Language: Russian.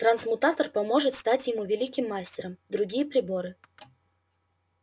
трансмутатор поможет встать ему великим мастером другие приборы